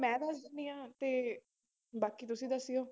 ਮੈਂ ਦੱਸ ਦਿੰਦੀ ਹਾਂ ਤੇ ਬਾਕੀ ਤੁਸੀਂ ਦੱਸਿਓ।